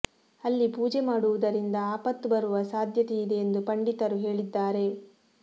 ಅಲ್ಲಿ ಪೂಜೆ ಮಾಡುವುದರಿಂದ ಆಪತ್ತು ಬರುವ ಸಾಧ್ಯತೆ ಇದೆ ಎಂದು ಪಂಡಿತರು ಹೇಳಿದ್ದಾರೆ